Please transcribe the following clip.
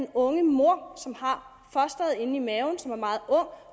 unge mor som har fosteret inde i maven